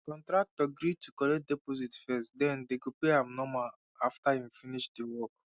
contractor gree to collect deposit first den dey go dey pay am normal after him finish de work